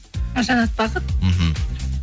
жанат бақыт мхм